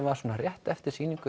var svona rétt eftir sýningu